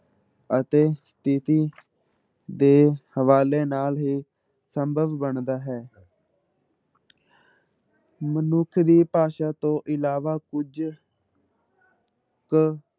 ਅਤੇ ਸਥਿੱਤੀ ਦੇ ਹਵਾਲੇ ਨਾਲ ਹੀ ਸੰਭਵ ਬਣਦਾ ਹੈ ਮਨੁੱਖ ਦੀ ਭਾਸ਼ਾ ਤੋਂ ਇਲਾਵਾ ਕੁੱਝ ਕੁ